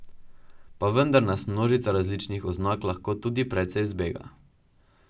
Pa vendar nas množica različnih oznak lahko tudi precej zbega.